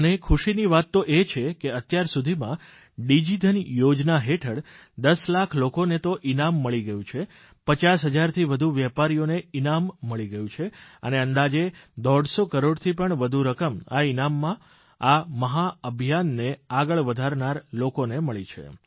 અને ખુશીની વાત એ છે કે અત્યાર સુધીમાં ડીજીધન યોજના હેઠળ દસ લાખ લોકોને તો ઇનામ મળી ગયું છે પચાસ હજારથી વધુ વેપારીઓને ઇનામ મળી ગયું છે અને અંદાજે દોઢ સો કરોડથી પણ વધુ રકમ આ ઇનામમાં આ મહાન અભિયાનને આગળ વધારનાર લોકોને મળી છે